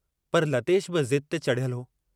पर लतेश बि ज़िद ते चढ़ियलु हो।